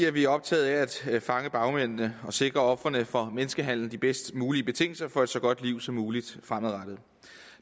er vi optaget af at fange bagmændene og sikre ofrene for menneskehandel de bedst mulige betingelser for et så godt liv som muligt fremadrettet